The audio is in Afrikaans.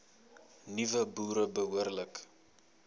nuwe boere behoorlik